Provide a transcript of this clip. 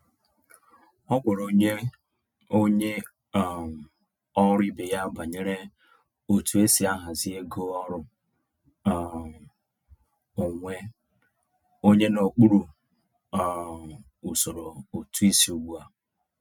O gwara onye onye um ọrụ ibe ya banyere otu esi ahazi ego ọrụ um onwe onye n’okpuru um usoro ụtụisi ugbu a.